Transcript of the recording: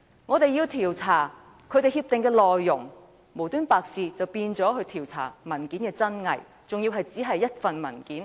我們要調查協議的內容，無緣無故卻變成調查文件的真偽，而且只限於一份文件。